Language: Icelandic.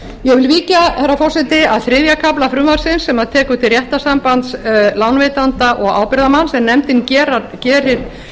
ég vil víkja herra forseti að þriðja kafla frumvarpsins sem tekur til réttarsambands lánveitanda og ábyrgðarmanns en nefndin gerir